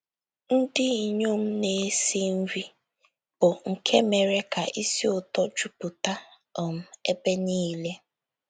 Ndị inyom na - esi nri, bụ́ nke mere ka ísì ụtọ jupụta um ebe niile.